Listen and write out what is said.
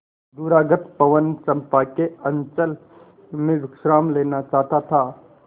दूरागत पवन चंपा के अंचल में विश्राम लेना चाहता था